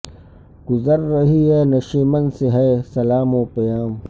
گزر رہی ہیں نشیمن سے بے سلام و پیام